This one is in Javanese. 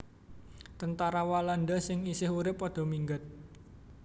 Tentara Walanda sing isih urip padha minggat